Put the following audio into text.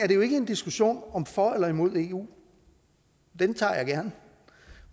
jo ikke en diskussion om for eller imod eu den tager jeg gerne